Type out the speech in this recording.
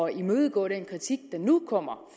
imødegå den kritik der nu kommer